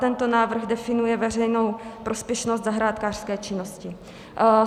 Tento návrh definuje veřejnou prospěšnost zahrádkářské činnosti.